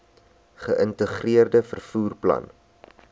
geïntegreerde vervoer plan